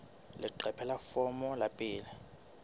leqephe la pele la foromo